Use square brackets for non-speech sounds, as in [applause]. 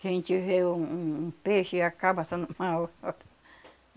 Que a gente vê um um um peixe e acaba assando na hora. [laughs]